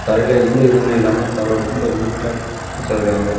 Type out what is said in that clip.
தரைல எந்த இதுவுமே இல்லாம தர ரொம்ப நீட்டா வச்சிருக்காங்க.